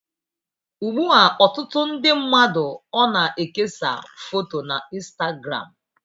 Ugbu a, ọtụtụ ndi mmadụ ona-ekesa foto na Instagramu.